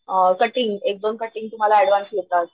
acting एक दोन cutting तुम्हाला ऍडव्हान्स येतात,